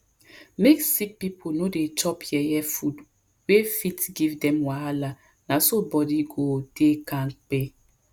make sick people no dey chop yeye food wey fit give dem wahala na so body go dey kampe